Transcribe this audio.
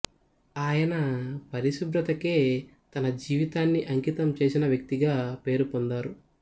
ఆయన పరిశుభ్రతకే తన జీవితాన్ని అంకితం చేసినవ్యక్తిగా పేరు పొందారు